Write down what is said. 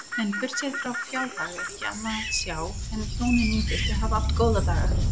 En burtséð frá fjárhag er ekki annað sjá en hjónin nýgiftu hafi átt góða daga.